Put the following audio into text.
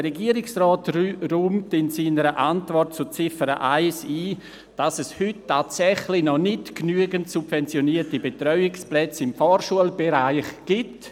Der Regierungsrat räumt in seiner Antwort zur Ziffer 1 ein, dass es heute tatsächlich noch nicht genügend subventionierte Betreuungsplätze im Vorschulbereich gibt.